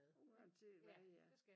Uanset hvad det er